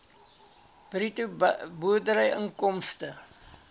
bruto boerderyinkomste